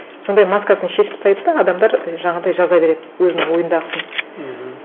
сондай маскасын шешіп тастайды да адамдар жаңағындай жаза береді өзінің ойындағысын мхм